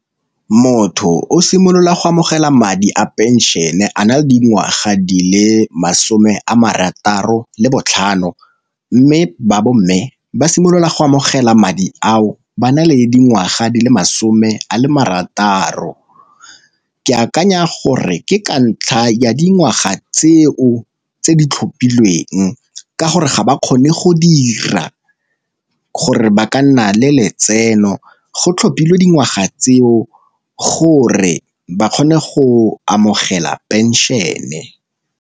Motho o simolola go amogela madi a pension-e a na le dingwaga di le masome a marataro le botlhano, mme ba bo mme ba simolola go amogela madi ao ba na le dingwaga di le masome a le marataro. Ke akanya gore ke ka ntlha ya dingwaga tseo tse di tlhophilweng ka gore ga ba kgone go dira, gore ba ka nna le letseno go tlhophilweng dingwaga tseo gore ba kgone go amogela pension-e.